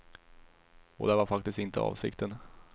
Och det var faktiskt inte avsikten.